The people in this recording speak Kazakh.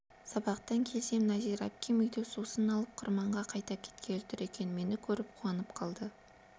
сабақтан келсем нәзира әпкем үйден сусын алып қырманға қайта кеткелі тұр екен мені көріп қуанып қалды